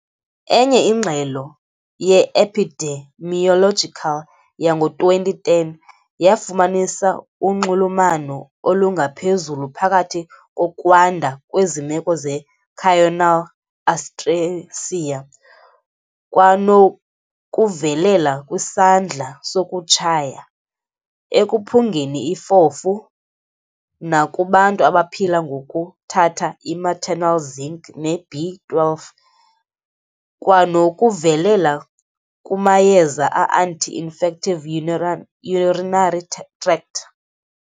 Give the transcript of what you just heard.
Enye ingxelo ye-epidemiological yango-2010 yafumanisa unxulumano olungaphezulu phakathi kokwanda kwezi meko ze-choanal atresia kwanokuvelela kwisandla sokutshaya, ekuphungeni ifofu, nakubantu abaphila ngokuthatha i-maternal zinc ne-B-12 kwanokuvelela kumayeza a-anti-infective urinary tract.